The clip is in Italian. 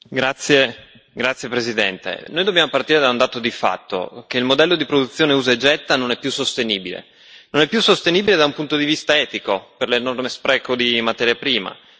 Signora Presidente, onorevoli colleghi, dobbiamo partire da un dato di fatto il modello di produzione usa e getta non è più sostenibile. Non è più sostenibile da un punto di vista etico, per l'enorme spreco di materia prima